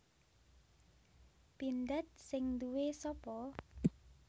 Pindad sing nduwe sapa